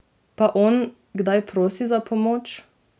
Pa on, kdaj prosi za pomoč?